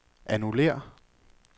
annullér